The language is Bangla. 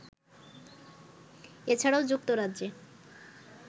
এছাড়াও যুক্তরাজ্যে